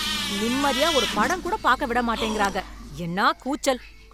நிம்மதியா ஒரு படம் கூட பாக்க விட மாட்டேங்கிறாங்க, என்னா கூச்சல்.